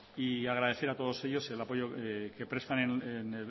agradecer a todos ellos que presten